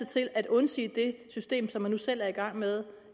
til at undsige det system som han nu selv er i gang med